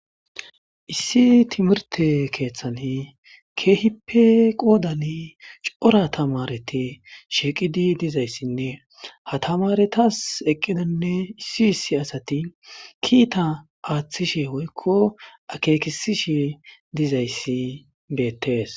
Issi timirte keeththani keehippe qoodan cora tamareti shiiqidi dizayssinne hatamaretas eqqidonne issi issi asati kiita aaththishe woykko akeekisishe dizayssi beettees